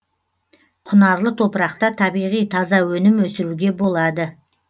құнарлы топырақта табиғи таза өнім өсіруге болады